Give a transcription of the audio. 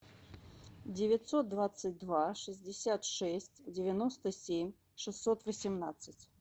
девятьсот двадцать два шестьдесят шесть девяносто семь шестьсот восемнадцать